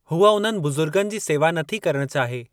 हूअ उन्हनि बुज़ुर्गनि जी सेवा नथी करण चाहे।